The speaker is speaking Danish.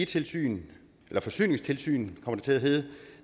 tilsyn forsyningstilsynet som det kommer til at hedde